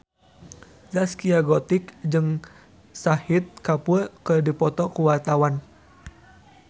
Zaskia Gotik jeung Shahid Kapoor keur dipoto ku wartawan